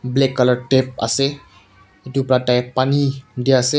Black colour tap ase etu bra tai pani dease.